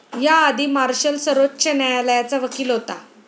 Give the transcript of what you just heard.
याआधी मार्शल सर्वोच्च न्यायालयाचा वकील होता.